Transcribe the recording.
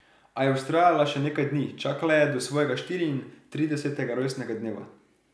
A je vztrajala še nekaj dni, čakala je do svojega štiriintridesetega rojstnega dneva.